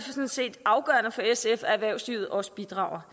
set afgørende for sf at erhvervslivet også bidrager